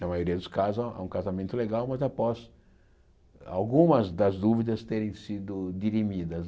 Na maioria dos casos há há um casamento legal, mas após algumas das dúvidas terem sido dirimidas.